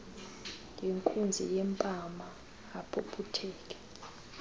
ngenkunzi yempama aphuphutheke